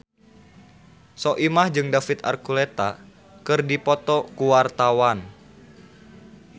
Soimah jeung David Archuletta keur dipoto ku wartawan